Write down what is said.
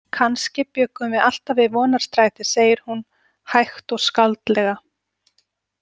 Kannski bjuggum við alltaf við Vonarstræti, segir hún hægt og skáldlega.